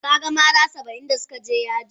Ka gan mara Saba'in da su ka je yaji?